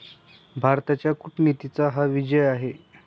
भारताच्या कूटनीतीचा हा विजय आहे.